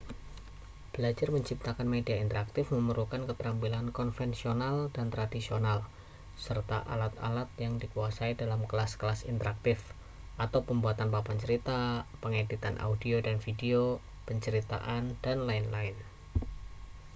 belajar menciptakan media interaktif memerlukan keterampilan konvensional dan tradisional serta alat-alat yang dikuasai dalam kelas-kelas interaktif pembuatan papan cerita pengeditan audio dan video penceritaan dll.